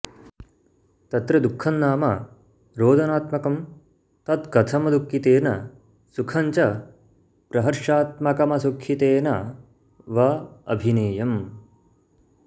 तत्र दुःखं नाम रोदनात्मकं तत्कथमदुःखितेन सुखं च प्रहर्षात्मकमसुखितेन वाभिनेयम्